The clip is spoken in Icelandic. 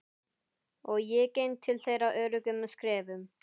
Og ég geng til þeirra öruggum skrefum.